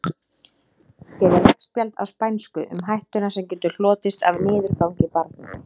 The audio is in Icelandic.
Hér er veggspjald á spænsku um hættuna sem getur hlotist af niðurgangi barna.